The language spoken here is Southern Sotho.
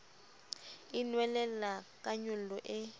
e nwelella ka nyollo e